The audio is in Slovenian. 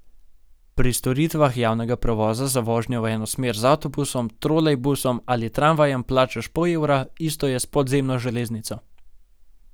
Pri storitvah javnega prevoza za vožnjo v eno smer z avtobusom, trolejbusom ali tramvajem plačaš pol evra, isto je s podzemno železnico.